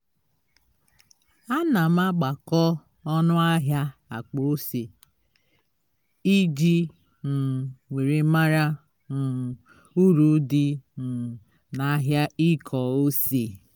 ana m agbakọ ọnụ ahia akpa ose iji um were mara um uru dị um na ahịa ịkọ ose